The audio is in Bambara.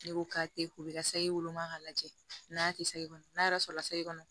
Ne ko k'a tɛ ko i ka sayi woloma k'a lajɛ n'a tɛ sagona n'a yɛrɛ sɔrɔla sayi kɔnɔ